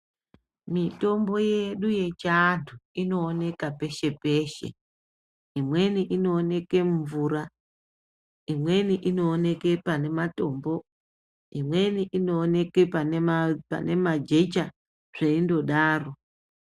Mitombo yedu yechiantu inooneka peshe -peshe. Imweni inooneke mumvura, imweni inooneke pane matombo imweni inooneke pane majecha zveindodaro.